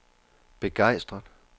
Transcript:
begejstret